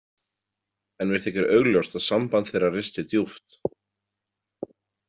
En mér þykir augljóst að samband þeirra risti djúpt.